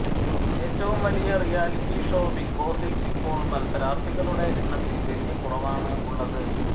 ഏറ്റവും വലിയ reality show ബിഗ്ബോസിൽ ഇപ്പോൾ മത്സരാർത്ഥികളുടെ എണ്ണത്തിൽ വലിയ കുറവാണ് ഉള്ളത്